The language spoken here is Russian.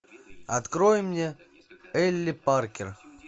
открой мне элли паркер